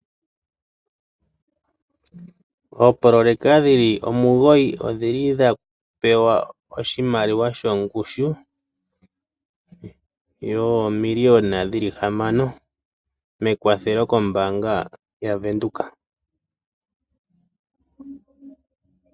Oopoloyeka dhili omugoyi, odhili dha pewa oshimaliwa shongushu yoomiliyona dhili hamana, mekwathelo kombaanga yavenduka.